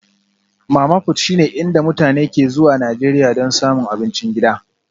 Mama-fut shine inda mutane ke zuwa Najeriya don samun abincin gida